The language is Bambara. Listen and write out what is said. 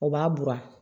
O b'a buran